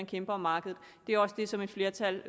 kæmper om markedet det er også det som et flertal